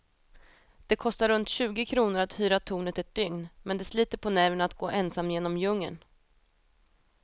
Det kostar runt tjugo kronor att hyra tornet ett dygn, men det sliter på nerverna att gå ensam genom djungeln.